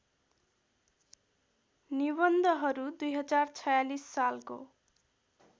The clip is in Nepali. निबन्धहरू २०४६ सालको